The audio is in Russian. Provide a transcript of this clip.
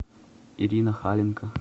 ирина халенко